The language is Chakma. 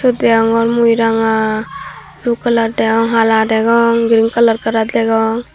degongor mui ranga dub kalar degong hala degong green kalar kalar degong.